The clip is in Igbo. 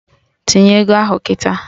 Tinye ego ahụ kịta!